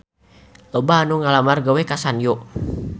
Loba anu ngalamar gawe ka Sanyo